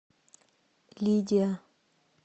лидия